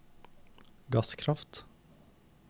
gasskraft